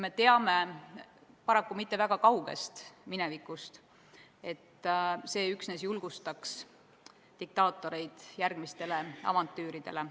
Me teame, paraku mitte väga kaugest minevikust, et see üksnes julgustaks diktaatoreid järgmistele avantüüridele.